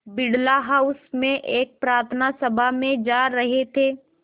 Birla house में एक प्रार्थना सभा में जा रहे थे